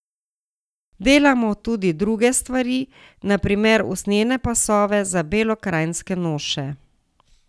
Delamo tudi druge stvari, na primer usnjene pasove za belokranjske noše.